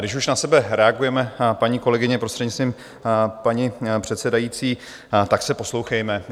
Když už na sebe reagujeme, paní kolegyně, prostřednictvím paní předsedající, tak se poslouchejme.